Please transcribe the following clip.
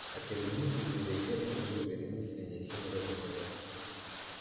а через минуту из дверей фермы вышла вереница свиней все на задних ногах